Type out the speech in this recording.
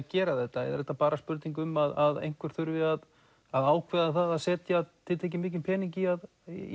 gera þetta eða er þetta bara spurning um að einhver þurfi að að ákveða það að setja tiltekið mikinn pening í að